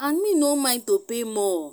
and me no mind to pay more